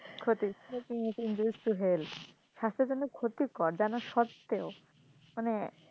ক্ষতি smoking is injurious to health স্বাস্থ্যের জন্য ক্ষতিকর জানার সত্বেও মানে